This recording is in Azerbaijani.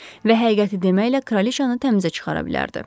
Və həqiqəti deməklə kraliçanı təmizə çıxara bilərdi.